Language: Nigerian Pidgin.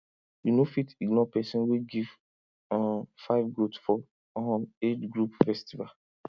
you no fit ignore person wey give um five goat for um age group festival